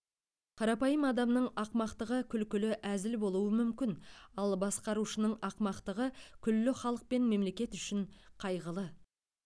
қарапайым адамның ақымақтығы күлкілі әзіл болуы мүмкін ал басқарушының ақымақтығы күллі халық пен мемлекет үшін қайғылы